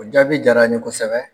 O jaabi diyar'an ye kosɛbɛ.